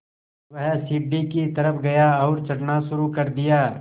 वह सीढ़ी की तरफ़ गया और चढ़ना शुरू कर दिया